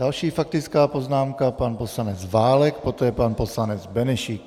Další faktická poznámka, pan poslanec Válek, poté pan poslanec Benešík.